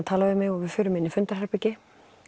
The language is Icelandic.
tala við mig og við förum inn í fundarherbergi